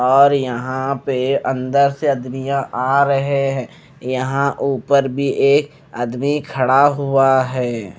और यहाँ पे अंदर से आदमिया आ रहे है और यहाँ उपर भी एक आदमी खड़ा हुआ है।